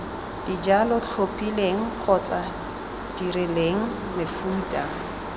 dijalo tlhophileng kgotsa dirileng mefuta